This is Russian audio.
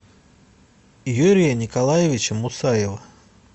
юрия николаевича мусаева